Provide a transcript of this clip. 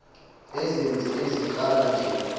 izenzi eziqala nge